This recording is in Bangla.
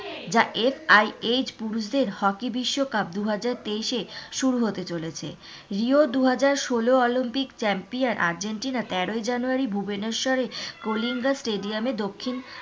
যা পুরুষদের হকি বিশ্বকাপ দুহাজার তেইশে শুরু হতে চলেছে রি ও অলিম্পিক দুহাজার ষোলো অলিম্পিক champion আর্জেন্টিনা তেরোই জানুয়ারি ভুবনেশ্বরে কুলিঙ্গা stadium এ দক্ষিণ,